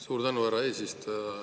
Suur tänu, härra eesistuja!